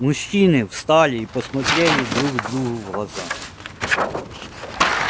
мужчины встали и посмотрели друг другу в глаза